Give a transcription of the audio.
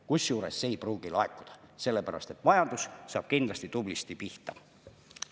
Kusjuures see ei pruugi laekuda, sellepärast et majandus saab kindlasti tublisti pihta.